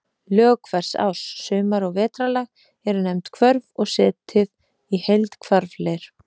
Lög hvers árs, sumar- og vetrarlag, eru nefnd hvörf og setið í heild hvarfleir.